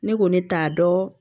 Ne ko ne t'a dɔn